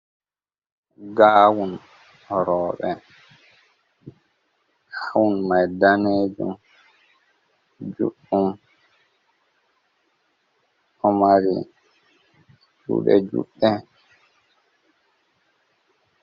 Gawun roɓe, huun mai danejum juɗɗum, o mari jude juɗɗe.